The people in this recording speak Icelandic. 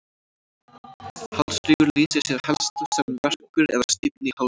Hálsrígur lýsir sér helst sem verkur eða stífni í hálsi.